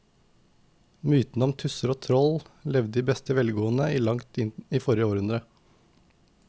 Mytene om tusser og troll levde i beste velgående til langt inn i forrige århundre.